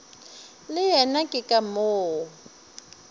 le yena ke ka moo